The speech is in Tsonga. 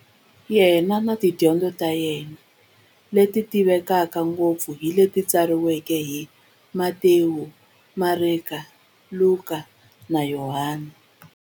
Yena na tidyondzo ta yena, leti tivekaka ngopfu hi leti tsariweke hi-Matewu, Mareka, Luka, na Yohani.